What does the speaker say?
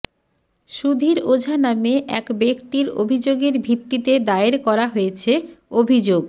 সুধীর ওঝা নামে এক ব্যক্তির অভিযোগের ভিত্তিতে দায়ের করা হয়েছে অভিযোগ